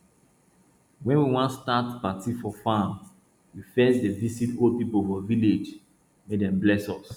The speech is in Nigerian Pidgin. wen we wan start party for farm we first dey visit old people for village make dem bless us